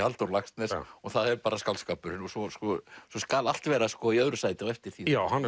Halldór Laxness og það er bara skáldskapurinn og svo og svo skal allt vera í öðru sæti á eftir því já hann